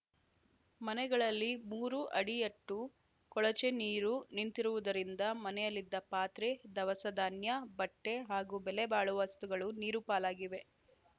ಮನೆಗಳಲ್ಲಿ ಮೂರು ಅಡಿಯಟ್ಟು ಕೊಳಚೆ ನೀರು ನಿಂತಿರುವುದರಿಂದ ಮನೆಯಲ್ಲಿದ್ದ ಪಾತ್ರೆ ಧವಸಧಾನ್ಯ ಬಟ್ಟೆಹಾಗೂ ಬೆಲೆ ಬಾಳುವ ವಸ್ತುಗಳು ನೀರುಪಾಲಾಗಿವೆ